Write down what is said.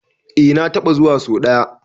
Eh na taɓa zuwa so ɗaya.